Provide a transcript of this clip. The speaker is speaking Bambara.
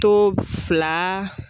To fila